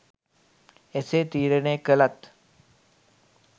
එසේ තීරණය කළත්